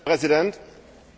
Herr Präsident!